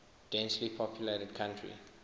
densely populated country